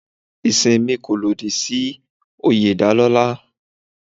Ẹ̀sìn mi kò lòdì sí oyè ìdálọ́lá.